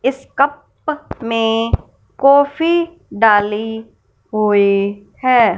इस कप में कॉफी डाली हुई है।